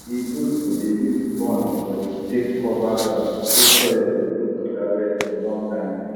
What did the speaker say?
e good to dey use corn body take cover ground so soil go hold water well for long time